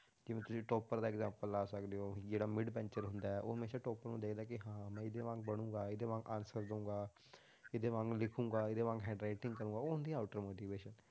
ਜਿਵੇਂ ਤੁਸੀਂ topper ਦਾ example ਲਾ ਸਕਦੇ ਹੋ, ਜਿਹੜਾ mid bencher ਹੁੰਦਾ ਹੈ, ਉਹ ਹਮੇਸ਼ਾ topper ਨੂੰ ਦੇਖਦਾ ਕਿ ਹਾਂ ਮੈਂ ਇਹਦੇ ਵਾਂਗ ਬਣਾਂਗਾ, ਇਹਦੇ ਵਾਂਗ answer ਦੇਵਾਂਗਾ ਇਹਦੇ ਵਾਂਗ ਲਿਖਾਂਗਾ, ਇਹਦੇ ਵਾਂਗ handwriting ਕਰਾਂਗਾ, ਉਹ ਹੁੰਦੀ ਆ outer motivation